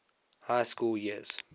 high school years